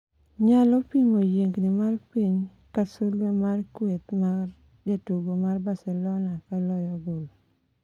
nyalo pimo yiengni mar piny ,ka sulwe mar kweth mar jotugo mar Barcelona ka loyo gol